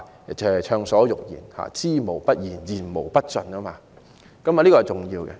大家可以暢所欲言，知無不言，言無不盡，這一點很重要。